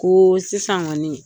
Ko sisan kɔni